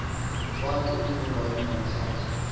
wakhe uzungabi nahlazo